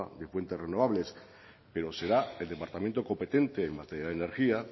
de fuentes renovables pero será el departamento competente en materia de energía